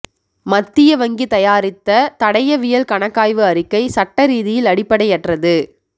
மத்திய வங்கி தயாரித்த தடயவியல் கணக்காய்வு அறிக்கை சட்டரீதியில் அடிப்படையற்றது